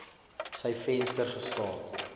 sy venster gestaan